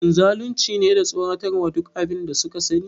Shin zalunci ne da tsoratarwa duk abin da suka sani?